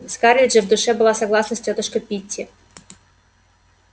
скарлетт же в душе была согласна с тётушкой питти